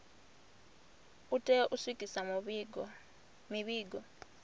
u tea u swikisa mivhigo